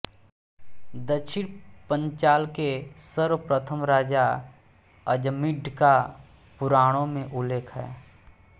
दक्षिण पंचाल के सर्वप्रथम राजा अजमीढ़ का पुराणों में उल्लेख है